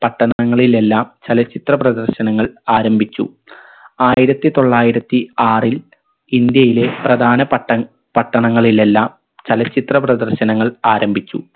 പട്ടണങ്ങളിലെല്ലാം ചലച്ചിത്ര പ്രദർശനങ്ങൾ ആരംഭിച്ചു ആയിരത്തി തൊള്ളായിരത്തി ആറിൽ ഇന്ത്യയിലെ പ്രധാന പട്ട പട്ടണങ്ങളിൽ എല്ലാം ചലച്ചിത്ര പ്രദർശനങ്ങൾ ആരംഭിച്ചു